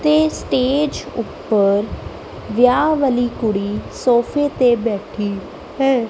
ਤੇ ਸਟੇਜ ਉਪਰ ਵਿਆਹ ਵਾਲੀ ਕੁੜੀ ਸੋਫੇ ਤੇ ਬੈਠੀ ਹੈ।